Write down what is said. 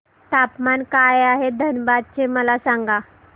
तापमान काय आहे धनबाद चे मला सांगा